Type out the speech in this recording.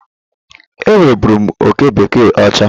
Enwe bụrụ m oke bekee ọcha.